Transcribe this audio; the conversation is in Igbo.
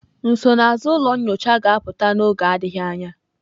Nsonaazụ ụlọ nyocha ga-apụta n'oge adịghị anya.